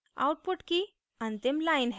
output की अंतिम line हैः